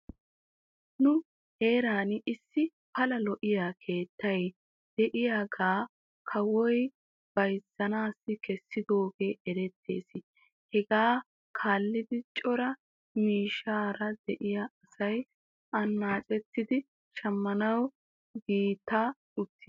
Nu heeran issi pala lo'iyaa keettay diyaagaa kawoy beyzzanaw kesidoogee erettes hegaa kaallidi cora miishshaara de'iyaa asay anaaccettidi shammanaw giigatti uttis.